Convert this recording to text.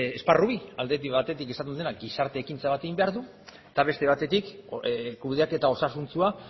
esparru bi batetik izaten dena gizarte ekintza bat egin behar du eta beste batetik kudeaketa osasuntsua